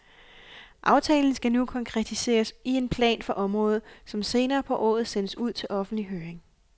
Aftalen skal nu konkretiseres i en plan for området, som senere på året sendes ud til offentlig høring.